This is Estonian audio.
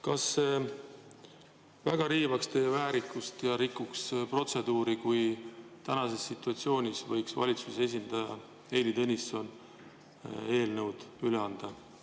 Kas see väga riivaks teie väärikust ja rikuks protseduuri, kui tänases situatsioonis võiks valitsuse esindaja Heili Tõnisson eelnõud üle anda?